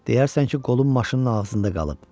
Deyərsən ki, qolun maşının ağzında qalıb.